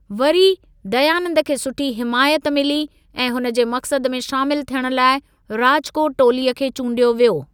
वरी, दयानंद खे सुठी हिमायत मिली ऐं हुन जे मक्सद में शामिल थियण लाइ राजकोट टोलीअ खे चूंडियो वियो।